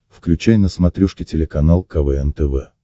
включай на смотрешке телеканал квн тв